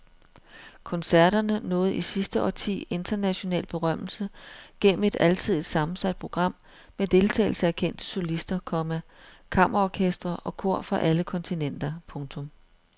Koncerterne nåede i sidste årti international berømmelse gennem et alsidigt sammensat program med deltagelse af kendte solister, komma kammerorkestre og kor fra alle kontinenter. punktum